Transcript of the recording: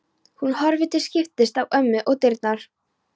Hún horfir til skiptis á ömmu og dyrnar.